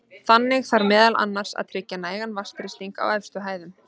Þannig þarf meðal annars að tryggja nægan vatnsþrýsting á efstu hæðum.